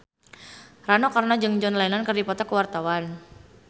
Rano Karno jeung John Lennon keur dipoto ku wartawan